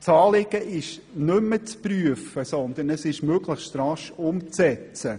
Das Anliegen ist nicht mehr zu prüfen, sondern möglichst rasch umzusetzen.